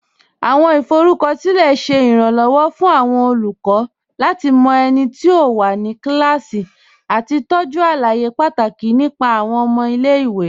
Awọn ifọrúkọsilẹ̀ ṣẹ́ iránlọwọ̀ fún awọn olùkọ̀ lati mọ ẹ̀niti ó wà ní kílásí àti tọ́jú alàyè pátákì nípa awọn ọmọ ilẹ̀-ìwé.